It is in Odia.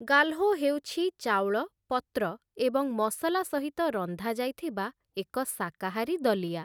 ଗାଲହୋ ହେଉଛି ଚାଉଳ, ପତ୍ର ଏବଂ ମସଲା ସହିତ ରନ୍ଧା ଯାଇଥିବା ଏକ ଶାକାହାରୀ ଦଲିଆ ।